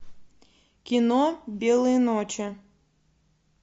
кино белые ночи